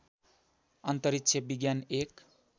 अन्तरिक्ष विज्ञान एक